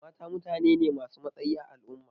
Mata mutane ne ma su matsayi a al'umma